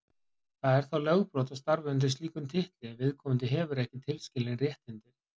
Það er þá lögbrot að starfa undir slíkum titli ef viðkomandi hefur ekki tilskilin réttindi.